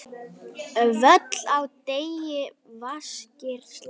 Völl á degi vaskir slá.